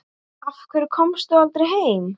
Af hverju komstu aldrei heim?